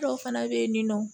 Dɔw fana bɛ yen nin nɔ